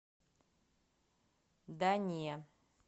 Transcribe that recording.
да не